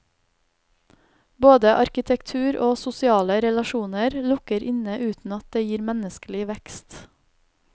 Både arkitektur og sosiale relasjoner lukker inne uten at det gir menneskelig vekst.